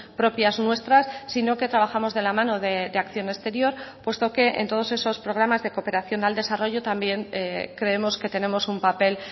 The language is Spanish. propias nuestras sino que trabajamos de la mano de acción exterior puesto que en todos esos programas de cooperación al desarrollo también creemos que tenemos un papel